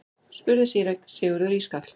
spurði síra Sigurður ískalt.